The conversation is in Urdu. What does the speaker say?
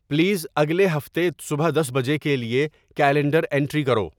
پلیز اگلے ہفتے صبح دس بجے کے لیے کیلنڈر انٹری کرو